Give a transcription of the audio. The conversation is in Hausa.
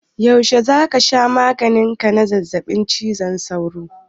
Yaushe za ka sha maganin ka na zazzaɓin cizon sauro?